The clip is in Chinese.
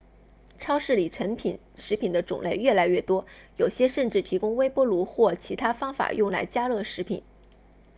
超市里成品食品的种类越来越多有些甚至提供微波炉或其他方法用来加热食品